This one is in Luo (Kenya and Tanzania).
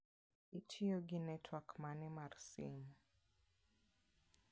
Itiyo gi netwak mane mar simu?